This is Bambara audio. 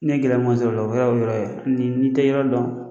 N ye gɛlɛman sɔrɔ o la n'i te yɔrɔ dɔn